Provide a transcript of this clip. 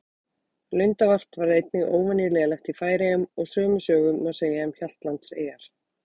Lundavarp var einnig óvenju lélegt í Færeyjum og sömu sögu má segja um Hjaltlandseyjar.